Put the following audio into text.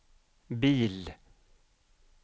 bil